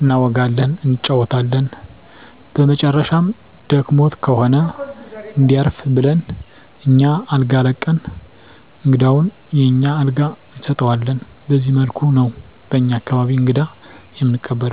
እናወጋለን እንጫወታለን በመጨረሻም ደክሞት ከሆነ እንዲያርፍ ብለን አኛ አልጋ ለቀን እንግዳውን የኛን አልጋ እንሰጠዋለን በዚህ መልኩ ነው በኛ አካባቢ እንግዳ እምንቀበለው።